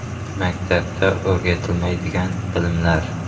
(Maktabda o‘rgatilmaydigan bilimlar).